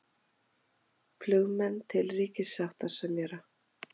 Flugmenn til ríkissáttasemjara